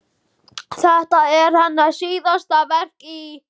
Þetta er hennar síðasta verk í